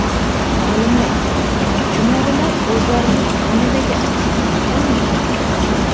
Olimlar: Chumolilar o‘zlarining oynadagi aksini taniy oladi.